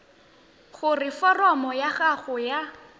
gore foromo ya gago ya